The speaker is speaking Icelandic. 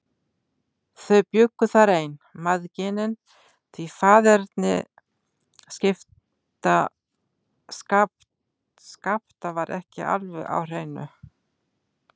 Þau bjuggu þar ein, mæðginin, því faðerni Skapta var ekki alveg á hreinu.